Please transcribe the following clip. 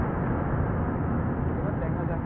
এবার দেখা যাক